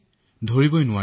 তথাপিও মই সুস্থ